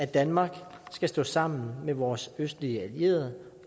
danmark skal stå sammen med vores østlige allierede